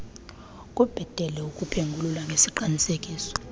kubhetele ukuphengulula ngesiqinisekiso